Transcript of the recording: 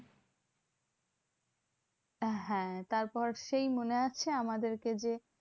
হ্যাঁ তারপর সেই মনে আছে? আমাদের কে যে